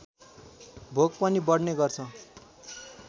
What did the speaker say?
भोक पनि बढ्ने गर्छ